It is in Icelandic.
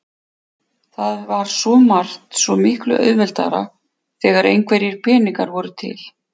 Það var svo margt svo miklu auðveldara þegar einhverjir peningar voru til.